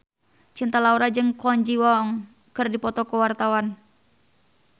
Cinta Laura jeung Kwon Ji Yong keur dipoto ku wartawan